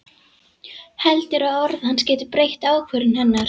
Heldur að orð hans geti breytt ákvörðun hennar.